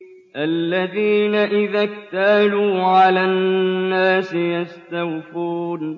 الَّذِينَ إِذَا اكْتَالُوا عَلَى النَّاسِ يَسْتَوْفُونَ